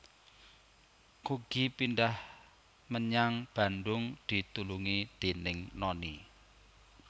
Kugy Pindhah menyang Bandung ditulungi déning Noni